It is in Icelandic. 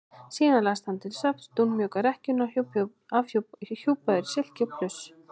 Síðan lagðist hann til svefns í dúnmjúka rekkjuna hjúpaður í silki og pluss.